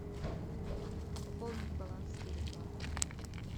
пополнить баланс теле два